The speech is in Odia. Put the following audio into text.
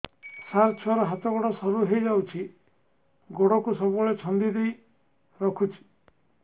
ସାର ଛୁଆର ହାତ ଗୋଡ ସରୁ ହେଇ ଯାଉଛି ଗୋଡ କୁ ସବୁବେଳେ ଛନ୍ଦିଦେଇ ରଖୁଛି